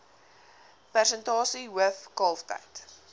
persentasie hoof kalftyd